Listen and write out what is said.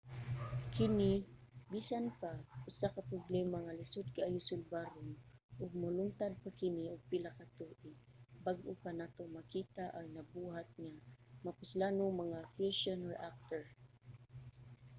kini bisan pa usa ka problema nga lisod kaayo sulbaron ug molungtad pa kini og pila ka tuig bag-o pa nato makita ang nabuhat nga mapuslanong mga fushion reactor